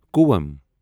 کوۄم